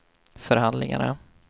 förhandlingarna